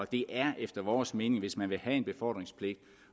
det er efter vores mening illusorisk hvis man vil have en befordringspligt